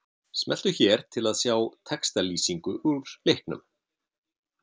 Smelltu hér til að sjá textalýsingu úr leiknum